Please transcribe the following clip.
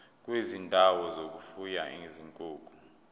kwezindawo zokufuya izinkukhu